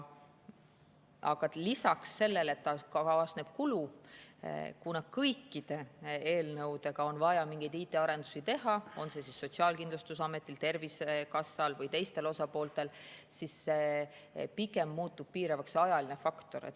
Aga lisaks sellele, et kaasneb kulu, siis kuna kõikide eelnõude tõttu on vaja mingeid IT‑arendusi teha kas Sotsiaalkindlustusametil, Tervisekassal või teistel osapooltel, muutub piiravaks pigem ajaline faktor.